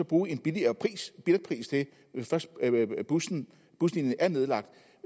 bruge en billigere billetpris til hvis først buslinjen buslinjen er nedlagt